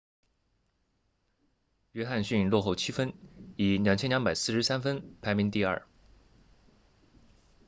约翰逊落后7分以2243分排名第二